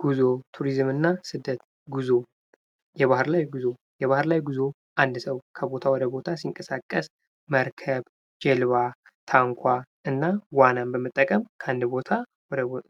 ጉዞ ፣ቱሪዝምና ስደት ጉዞ የባህር ላይ ጉዞ የባህር ላይ ጉዞ አንድ ሰው ከቦታ ወደ ቦታ ሲንቀሳቀስ መርከብ፣ ጀልባ፣ ታንኳ እና ዋናን በምጠቀም ከአንድ ቦታ